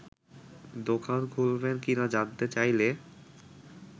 দোকান খুলবেন কিনা জানতে চাইলে